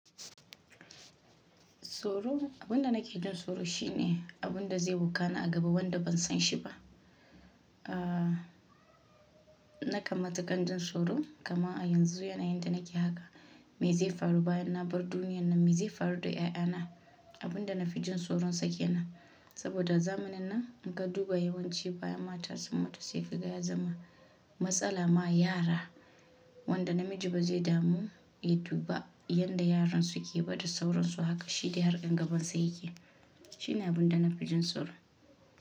Soro, abun da nake jin soro shine abun da zai bukana a gaba wanda ban san shi ba. Ahhh nakan matukar jin soro kama a yanzu yanayi yadda nake haka me zai faru bayan na bar duniyar nan, me zai faru da 'ya'yana abun da na fi jin soron sake nan saboda zamanin nan in ka duba yawanci bayan mata sun mutu se kiga ya zama matsala ma yara wanda namiji ba zai damu ya duba yanda yaran su ke bada sauransu haka shi da harkan gaban sa yake. Shi ne abun da na fi jin soro.